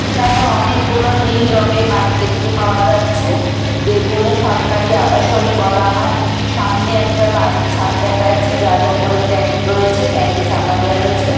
এখানে অনেকগুলো নীল রঙের বাড়ি দেখতে পাওয়া যাচ্ছে যেগুলো সরকারি আবাসনী বলা হয় সামনে একটা বাড়ি ছাদ দেখা যাচ্ছে যার ওপরে ট্যাঙ্ক রয়েছে ট্যাংক -এ চাপা দেওয়া রয়েছে।